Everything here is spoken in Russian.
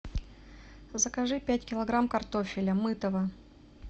закажи пять килограмм картофеля мытого